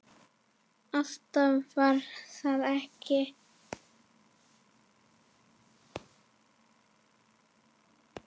Ást var það ekki.